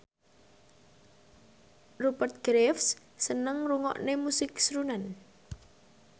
Rupert Graves seneng ngrungokne musik srunen